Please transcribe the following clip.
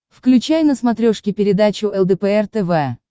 включай на смотрешке передачу лдпр тв